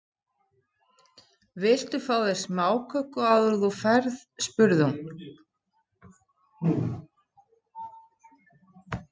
Viltu þá ekki fá þér smáköku áður en þú ferð spurði hún.